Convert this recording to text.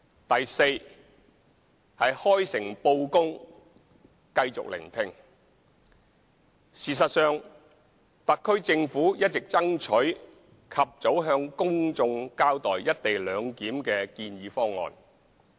d 開誠布公繼續聆聽事實上，特區政府一直爭取及早向公眾交代"一地兩檢"的建議方案。